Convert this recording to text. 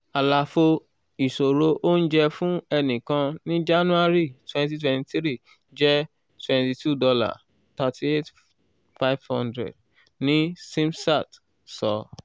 àlàfo ìṣòro oúnjẹ fún ẹnìkan ní january twenty twenty three jẹ $ twenty two thirty eight thousand five hundred ⁇ ni zimstat sọ.